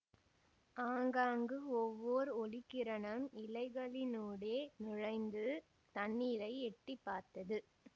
ஆங்காங்கு ஒவ்வோர் ஒளிக்கிரணம் இலைகளினூடே நுழைந்து தண்ணீரை எட்டி பார்த்தது